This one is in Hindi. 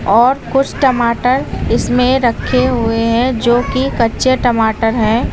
और कुछ टमाटर इसमें रखे हुए हैं जो कि कच्चे टमाटर हैं।